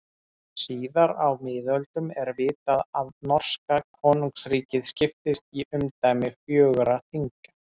En síðar á miðöldum er vitað að norska konungsríkið skiptist í umdæmi fjögurra þinga.